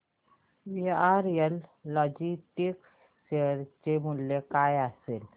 VRL logistics share चे मूल्य काय असेल